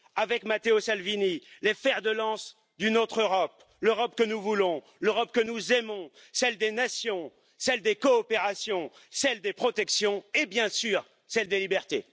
avec Matteo Salvini, les fers de lance d'une autre Europe, l'Europe que nous voulons, l'Europe que nous aimons, celle des nations, celle des coopérations, celle des protections, et, bien sûr, celle des libertés.